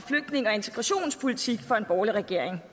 integrationspolitik fra en borgerlig regering